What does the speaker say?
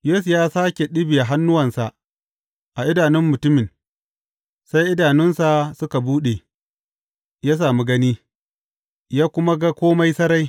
Yesu ya sāke ɗibiya hannuwansa a idanun mutumin, sai idanunsa suka buɗe, ya sami gani, ya kuma ga kome sarai.